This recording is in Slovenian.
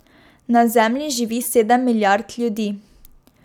Na Zemlji živi sedem milijard ljudi.